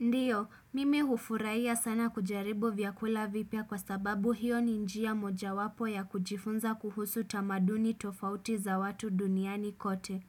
Ndiyo, mimi hufurahia sana kujaribu vyakula vipya kwa sababu hiyo ninjia moja wapo ya kujifunza kuhusu tamaduni tofauti za watu duniani kote.